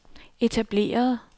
etablerede